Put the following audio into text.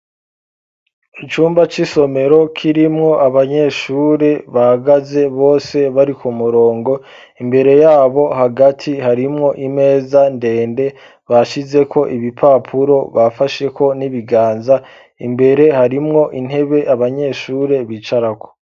Icumba c'isomero kirimwo abanyeshure bahagaze bose bari ku murongo ,imbere yabo hagati harimwo imeza ndende bashizeko ibipapuro bafasheko n'ibiganza , imbere harimwo intebe abanyeshure bicarako.